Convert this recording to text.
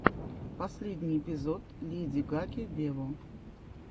последний эпизод леди гаги вево